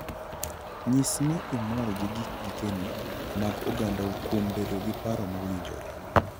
Nyis ni imor gi gikeni mag ogandau kuom bedo gi paro mowinjore.